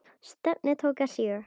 Stefnið tók að síga.